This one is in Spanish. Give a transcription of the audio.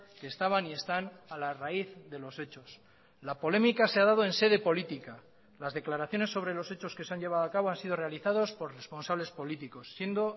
que estaban y están a la raíz de los hechos la polémica se ha dado en sede política las declaraciones sobre los hechos que se han llevado a cabo han sido realizados por responsables políticos siendo